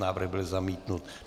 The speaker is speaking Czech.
Návrh byl zamítnut.